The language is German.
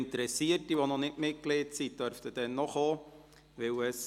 Interessierte, die noch nicht Mitglied sind, dürfen auch kommen.